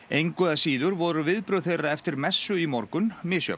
engu að síður voru viðbrögð þeirra eftir messu í morgun misjöfn